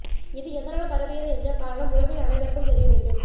இது எதனால் பரவியது என்ற காரணம் உலகில் அனைவருக்கும் தெரிய வேண்டும்